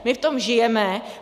My v tom žijeme.